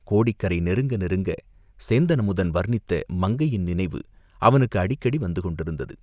கோடிக்கரை நெருங்க நெருங்க, சேந்தன் அமுதன் வர்ணித்த மங்கையின் நினைவு அவனுக்கு அடிக்கடி வந்து கொண்டிருந்தது.